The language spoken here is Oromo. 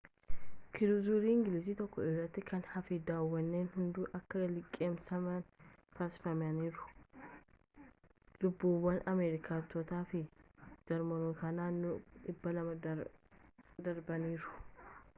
kiruuzarii ingilizii tokko irraa kan hafe dooniiwwan hunduu akka liqimsaman taasifamaniiru lubbuuwwan ameerikaanotaa fi jarmanootaa naannoo 200 darbaniiru